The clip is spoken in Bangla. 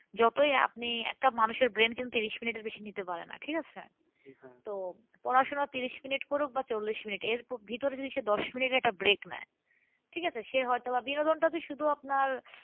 যতই আপনি একটা মানুষের brain কিন্তু ত্রিশ মিনিটের বেশি কিন্তু নিতে পারে না ঠিক আছে তো পড়াশোনা ত্রিশ মিনিট করুক না চল্লিশ মিনিট এর ভিতরে যদি সে দশ মিনিট একটা break নেয় ঠিক আছে? সে হয়তো বা বিনোদনটা যে শুধু আপনার